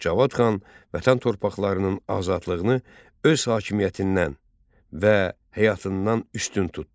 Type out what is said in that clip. Cavad xan vətən torpaqlarının azadlığını öz hakimiyyətindən və həyatından üstün tutdu.